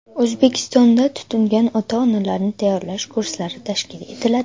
O‘zbekistonda tutingan ota-onalarni tayyorlash kurslari tashkil etiladi.